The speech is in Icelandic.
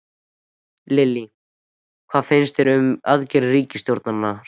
Lillý: Hvað finnst þér um aðgerðir ríkisstjórnarinnar?